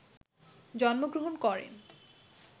জন্মগ্র্রহণ করেন